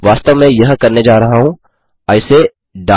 वास्तव में मैं यह करने जा रहा हूँ आई से डाइ